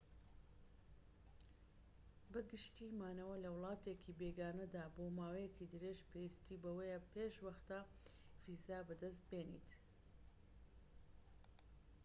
بە گشتی مانەوە لە وڵاتێکی بێگانەدا بۆ ماوەیەکی درێژ پێویستی بەوەیە پێش وەختە ڤیزا بەدەست بێنیت